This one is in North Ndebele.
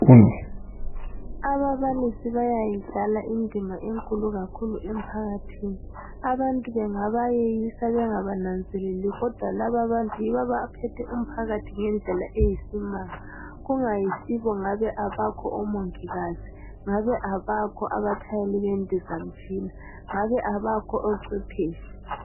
ababalisi bayayidlala kakhulu indima enkulu emphakathini abantu bengabayeyisa bengabanazeleli kodwa laba abantu yibo abaphethe umphakathi ngendlela eyisimanga kungayisibo ngabe abakho omongikazi ngabe abakho abatshayeli bendizamtshina ngabe abakho ocwephetshi